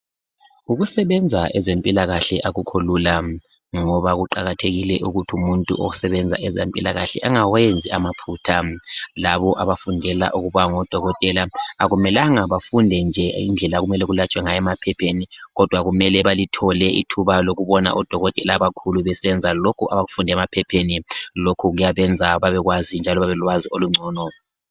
Ukusebenza ezempilakahle akukholula ngoba kuqakathekile ukuthi umuntu osebenza ezempilakahle angawenzi amaphutha. Labo abafundela ukuba ngodokotela akumelanga bafunde nje indlela okumele kulatshwe ngayo emaphepheni kodwa kumele balithole ithuba lokubona odokotela abakhulu besenza lokhu abakufunde emaphepheni. Lokhu kuyabenza babekwazi njalo babelolwazi olungcono.